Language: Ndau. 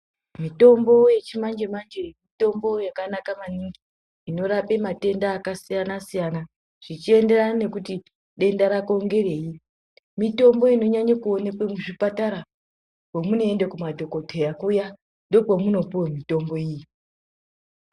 Mitombo yechimanje manje mitombo yakanaka maningi, inorape matenda akasiyana siyana zvichienderana nekuti denda rako ngerei. Mitombo inonyanye kuonekwe muzvipatara. Pamunoenda kumadhokoteya kuya ndookwemunopiwe mitombo iyi.